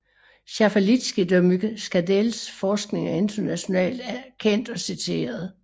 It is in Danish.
Schaffalitzky de Muckadells forskning er internationalt kendt og citeret